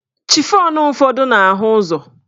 Chifọn ụfọdụ na-ahụ ụzọ